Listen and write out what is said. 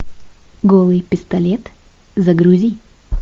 голый пистолет загрузи